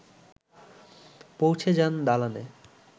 পৌঁছে যান দালানে